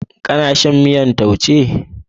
Kana cin miyar taushe?